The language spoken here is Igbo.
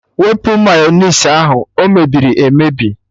Wụpụ Mayọnais ahụ! O mebiri emebi